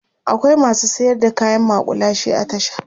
akwai masu sayar da kayan maƙulashe a tasha